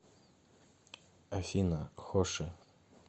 афина хоши